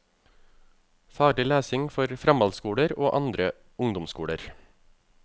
Faglig lesning for framhaldsskoler og andre ungdomsskoler.